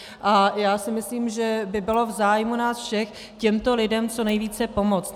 A já si myslím, že by bylo v zájmu nás všech těmto lidem co nejvíce pomoct.